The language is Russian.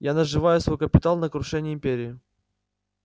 я наживаю свой капитал на крушении империи